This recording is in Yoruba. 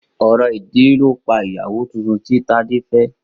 Orò ìdílé ló pa ìyàwó titun tí Tádé fẹ́.